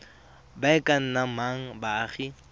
ba e ka nnang baagi